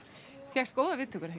fékkst góðar viðtökur er